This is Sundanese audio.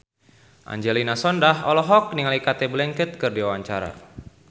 Angelina Sondakh olohok ningali Cate Blanchett keur diwawancara